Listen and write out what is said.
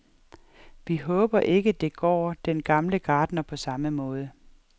Vi håber ikke, det går den gamle gartner på samme måde.